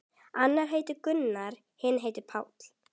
Annar heitir Gunnar, hinn Páll.